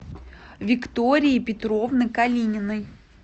виктории петровны калининой